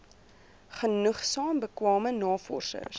genoegsaam bekwame navorsers